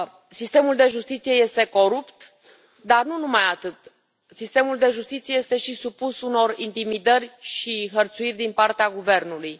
Sistemul de justiție este corupt, dar nu numai atât, sistemul de justiție este și supus intimidării și hărțuirii din partea guvernului.